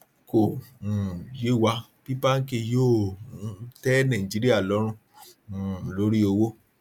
kò um yé wa bí báńkì yóò um tẹ nàìjíríà lórùn um lórí owó